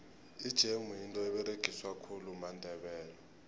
ijemu yinto eberegiswa khulu mandebele